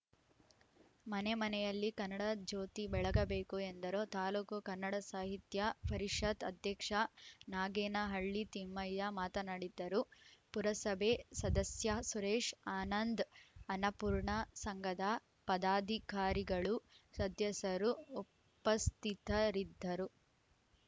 ಮನೆ ಮನೆಯಲ್ಲಿ ಕನ್ನಡ ಜ್ಯೋತಿ ಬೆಳಗಬೇಕು ಎಂದರು ತಾಲೂಕು ಕನ್ನಡ ಸಾಹಿತ್ಯ ಪರಿಷತ್‌ ಅಧ್ಯಕ್ಷ ನಾಗೇನಹಳ್ಳಿ ತಿಮ್ಮಯ್ಯ ಮಾತನಾಡಿದ್ದರು ಪುರಸಭೆ ಸದಸ್ಯ ಸುರೇಶ್‌ ಆನಂದ್‌ ಅನ್ನಪೂರ್ಣ ಸಂಘದ ಪದಾಧಿಕಾರಿಗಳು ಸದಸ್ಯರು ಉಪಸ್ಥಿತರಿದ್ದರು